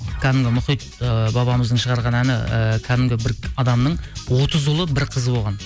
кәдімгі мұхит ыыы бабамыздың шығарған әні ііі кәдімгі бір адамның отыз ұлы бір қызы болған